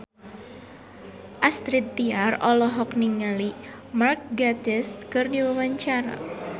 Astrid Tiar olohok ningali Mark Gatiss keur diwawancara